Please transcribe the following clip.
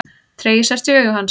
Tregi sest í augu hans.